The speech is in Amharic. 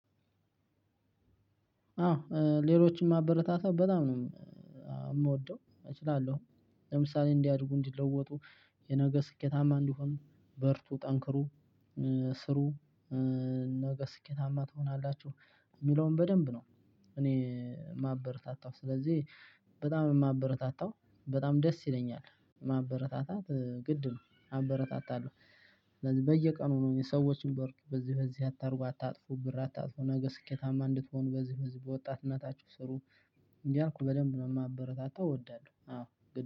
አዎ ሌሎችን ማበረታታት በጣም ነውምወደው እችላለሁ። ለምሳሌ እንዲያድጉ እንዲለወጡ የነገ ስኬታማ እንዲሆኑ በርቱ ጠንክሩ ስሩ። ነገ ስኬታማ ትሆናላችሁ እሚለውን በደንብ ነው። እኔ ማበር ታታው ስለዚህ በጣም ነው የማበረታታው። በጣም ደስ ይለኛል ማበረታታት ግድ ነው አበረታታለሁ። ስለዚህ በየቀኑ ነው የሰዎችን ብር በዚህ በዚህ አታርጉ አታጥፉ ብር አታጥፉ ነገ ስኬታማ እንድትሆኑ በዚህ በዚህ በወጣትነታችሁ ስሩ። እያልኩ በደንብ ነው ማበረታታው እወዳለሁ አዎ